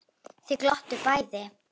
Þau glottu bæði.